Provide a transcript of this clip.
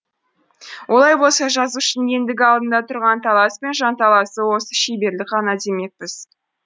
олай болса жазушының ендігі алдында тұрған талас пен жанталасы осы шеберлік ғана демекпіз